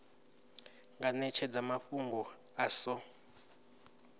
nga netshedza mafhungo a so